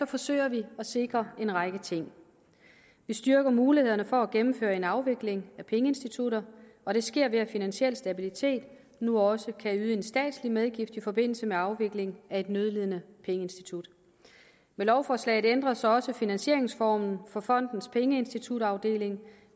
forsøger vi at sikre en række ting vi styrker mulighederne for at gennemføre en afvikling af pengeinstitutter og det sker ved at finansiel stabilitet as nu også kan yde en statslig medgift i forbindelse med afvikling af et nødlidende pengeinstitut med lovforslaget ændres også finansieringsformen for fondens pengeinstitutafdeling